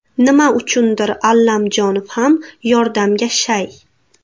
Nima uchundir Allamjonov ham yordamga shay.